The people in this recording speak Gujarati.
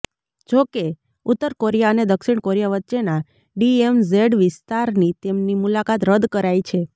જો કે ઉત્તર કોરિયા અને દક્ષિણ કોરિયા વચ્ચેનાં ડીએમઝેડ વિસ્તારની તેમની મુલાકાત રદ કરાઈ છે